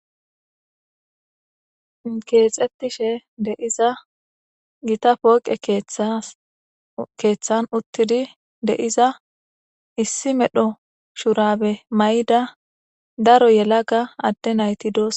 Kexetishe de'iza gitta poqe keththan utidi de'iza issi medho shurabe mayida daro yelaga ade nati de"osona